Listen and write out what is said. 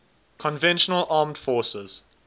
conventional armed forces